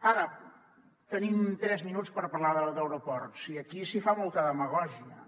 ara tenim tres minuts per parlar d’aeroports i aquí s’hi fa molta demagògia